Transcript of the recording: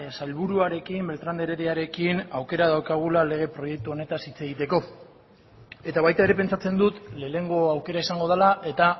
sailburuarekin beltran de herediarekin aukera daukagula lege proiektu honetaz hitz egiteko eta baita ere pentsatzen dut lehenengo aukera izango dela eta